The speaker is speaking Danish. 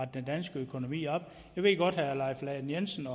den danske økonomi op jeg ved godt at herre leif lahn jensen